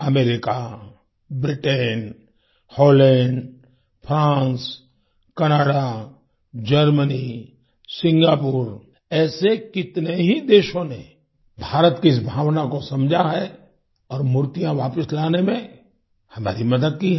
America Britain Holland France Canada Germany Singapore ऐसे कितने ही देशों ने भारत की इस भावना को समझा है और मूर्तियां वापस लाने में हमारी मदद की है